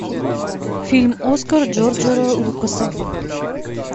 фильм оскар джорджа лукаса